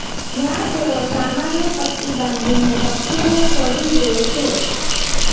જ્યાં તેઓ સામાન્ય પટ્ટી બાંધીને પક્ષીને છોડી દે છે